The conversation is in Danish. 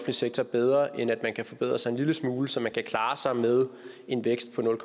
sektor bedre end at man kan forbedre sig en lille smule så man kan klare sig med en vækst på nul